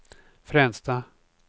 Fränsta